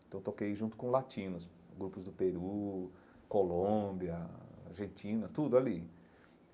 Então toquei junto com latinos, grupos do Peru, Colômbia, Argentina, tudo ali.